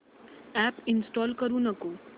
app install करू नको